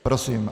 Prosím.